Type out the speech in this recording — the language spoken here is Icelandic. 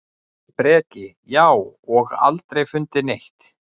Breki: Já, og aldrei fundið neitt?